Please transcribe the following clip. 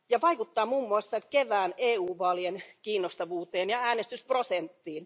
Ja se vaikuttaa muun muassa kevään EU vaalien kiinnostavuuteen ja äänestysprosenttiin.